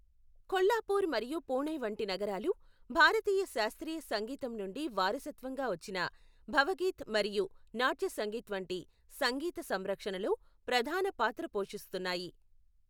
కొల్హాపూర్ మరియు పూణే వంటి నగరాలు భారతీయ శాస్త్రీయ సంగీతం నుండి వారసత్వంగా వచ్చిన భవగీత్ మరియు నాట్య సంగీత్ వంటి సంగీత సంరక్షణలో ప్రధాన పాత్ర పోషిస్తున్నాయి.